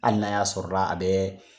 Hali na ya sɔrɔla a bɛ